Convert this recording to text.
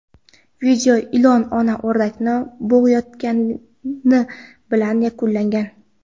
Video ilon ona o‘rdakni bo‘g‘ayotgani bilan yakunlangan.